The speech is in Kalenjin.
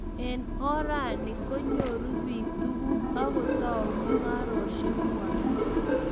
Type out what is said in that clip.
Eng orani, konyuru biik tukuk akotou mungareshiek kwai